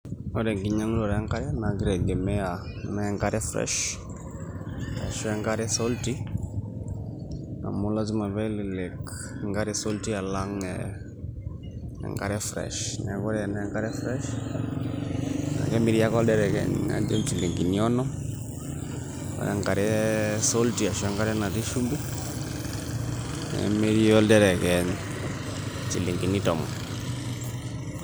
Ore enkinyanguto enkare na kitegemea na enkare fresh ashu enkare salty amublasima pelelek enkare saulty alang enkare fresh na kemiri ake oldiriket ajo njilingini tikitam ore enkare salty arashu enkare natii shumbi nemiri oldereny nchilingini tomon.